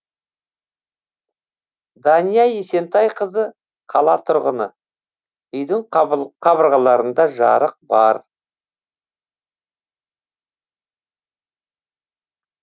дания есентайқызы қала тұрғыны үйдің қабырғаларында жарық бар